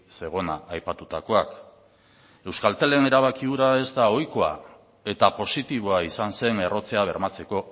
zegona aipatutakoak euskaltelen erabaki hura ez da ohikoa eta positiboa izan zen errotzea bermatzeko